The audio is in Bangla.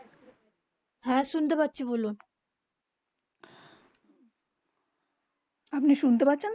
আপনি শুনতে পাচ্ছেন